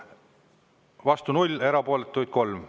Vastu 0, erapooletuid 3.